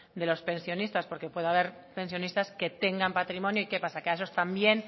de los pensionistas porque puede haber pensionistas que tengan patrimonio y qué pasa que a esos también